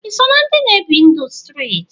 Iso na ndi na ebi ndụ striti?